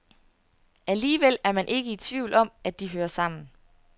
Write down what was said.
Alligevel er man ikke i tvivl om, at de hører sammen.